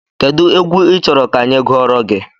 Kedụ egwu ị chọrọ ka anyị gụọrọ gị?